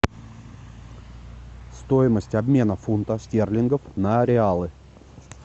стоимость обмена фунтов стерлингов на реалы